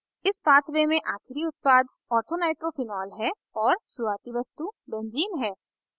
इस pathway में आखिरी उत्पाद orthonitrophenol है और शुरुवाती वस्तु benzene है